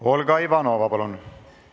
Olga Ivanova, palun!